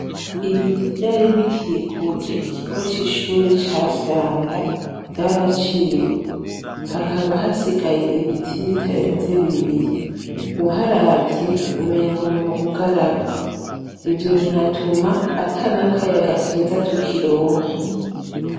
Ibiti vyari bikikuje ikigo c'ishure ca vyanda vyaraciwe hakaba hasigaye ibiti bitarenze bibiri uharavye umengoni mu bugaragwa ivyo binatuma ata nakayaga keza tukironka.